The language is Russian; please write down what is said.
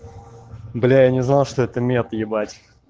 бля я не знал что это мет ебать